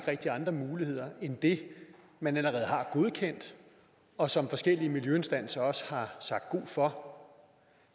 rigtig andre muligheder end det man allerede har godkendt og som forskellige miljøinstanser også har sagt god for